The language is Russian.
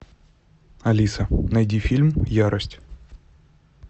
алиса найди фильм ярость